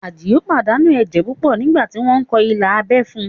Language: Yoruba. Àdìó pàdánù ẹ̀jẹ̀ púpọ̀ nígbà tí wọ́n kọ ilà abẹ́ fún un